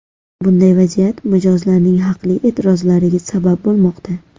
Bunday vaziyat mijozlarning haqli e’tirozlariga sabab bo‘lmoqda.